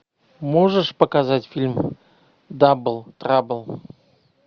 можешь показать фильм дабл трабл